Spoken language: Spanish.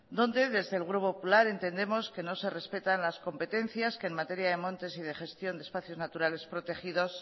donde desde el grupo popular entendemos que no se respetan las competencias que en materia de montes y de gestión de espacios naturales protegidos